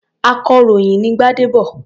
Akọ̀ròyìn ni Gbádébọ̀.